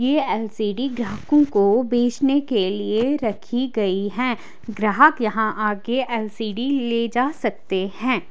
ये एल_सी_डी ग्राहकों को बेचने के लिए रखी गई है ग्राहक यहां आके एल_सी_डी ले जा सकते हैं।